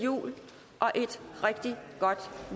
jul og et rigtig godt